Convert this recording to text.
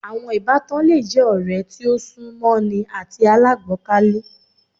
Àwọn Ìbátan le je ọ̀rẹ́ tí o sún mọ́ ni àti alágbọkàlé